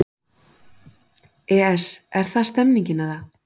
ES Er það stemningin eða?